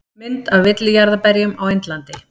Mynd af villijarðarberjum á Indlandi.